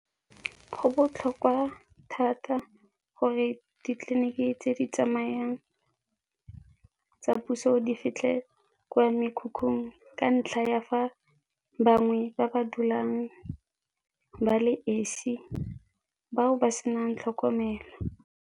Go botlhokwa thata gore ditleliniki tse di tsamayang tsa puso di fitlhe kwa mekhukhung ka ntlha ya fa bangwe ba ba dulang ba le esi, ba o ba se na ng tlhokomelo.